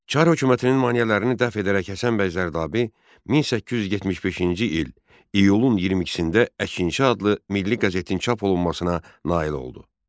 Çar hökumətinin maneələrini dəf edərək Həsən bəy Zərdabi 1875-ci il iyulun 22-də Əkinçi adlı milli qəzetin çap olunmasına nail oldu.